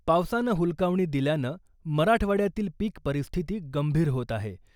पावसानं हुलकावणी दिल्यानं मराठवाड्यातील पीक परिस्थिती गंभीर होत आहे.